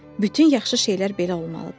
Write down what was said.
Bütün yaxşı şeylər belə olmalıdır.